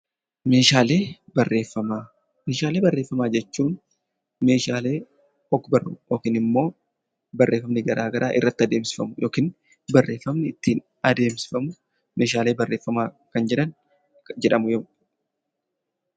Meeshaalee barreeffamaa. Meeshaalee barreeffamaa jechuun meeshaalee ogbarruu yokin immoo barreeffamni garaa garaa irratti adeemsifamu yokin barreeffamni ittiin adeemsifamu meeshaalee barreeffamaa kan jedhan jedhamu.